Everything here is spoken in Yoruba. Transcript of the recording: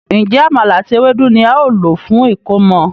Njé Àmàlà àti Ewédú ní ào ló fún ẹkọmọ?